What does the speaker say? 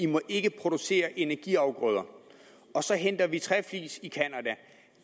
må ikke producere energiafgrøder og så henter vi træflis i canada